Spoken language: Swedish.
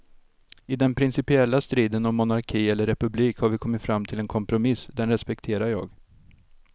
I den principiella striden om monarki eller republik har vi kommit fram till en kompromiss, den respekterar jag.